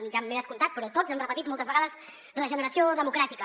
ja m’he descomptat però tots han repetit moltes vegades regeneració democràtica